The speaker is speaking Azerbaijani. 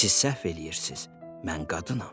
Siz səhv eləyirsiz, mən qadınam.